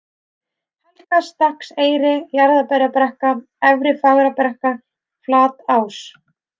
Helgastakkseyri, Jarðaberjabrekka, Efri-Fagrabrekka, Flatás